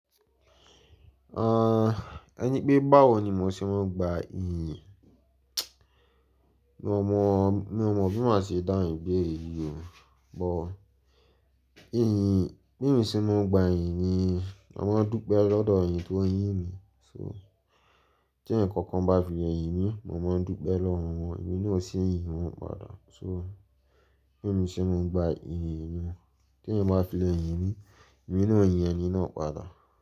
Ah, ẹni pé báwo ni mo ṣe máa ń gba iyìn? Mi ò mọ, mi ò mọ bí màá ṣe dáhùn ibeere yií o, but iyìn, bí emi ṣe máa ń gba iyìn ni mo máa ń dúpẹ́ lọ́dọ̀ eni ti wón yín mi. So tí ẹ̀eyàn kankan bá fi le yìn mí, mo máa ń dúpẹ́ lọ́wọ́ wọn, èmi náà ò ṣi yìn wọn padà. So bí emi ṣe máa ń gba iyìn niyen ti eeyan bá fi le yìn mí, èmi náà ò yín ẹní náà padà.